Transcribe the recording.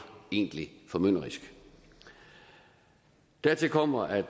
egentlig formynderisk dertil kommer at